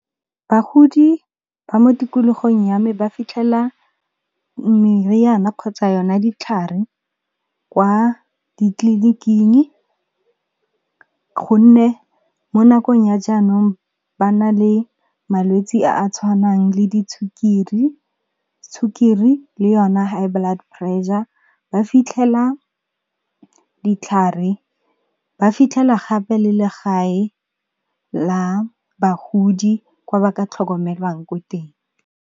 Bagodi ba mo tikologong ya me ba fitlhela meriana kgotsa yona ditlhare kwa ditleliniking, gonne mo nakong ya jaanong ba na le malwetsi a a tshwanang le sukiri le yona high blood pressure, ba fitlhela ditlhare ba fitlhela gape le le gae la bagodi kwa ba ka tlhokomelwang ko teng.